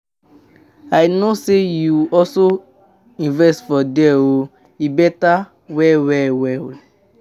I no know say you also invest for there oo, e beta well well well.